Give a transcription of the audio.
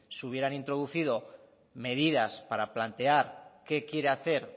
se hubieran introducido medidas para plantear qué quiere hacer